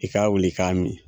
I ka wili i k'a min.